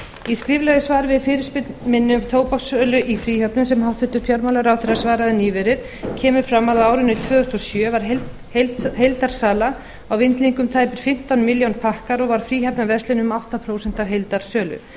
í skriflegu svari við fyrirspurn minni um tóbakssölu í fríhöfnum sem hæstvirtur fjármálaráðherra svaraði nýverið kemur fram að á árinu tvö þúsund og sjö var heildarsala á vindlingum tæpir fimmtán milljón pakkar og var í fríhafnarverslunum um átta prósent af heildarsölu þá